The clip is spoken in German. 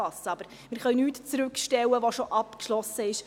Wir können nichts zurückstellen, was bereits abgeschlossen ist.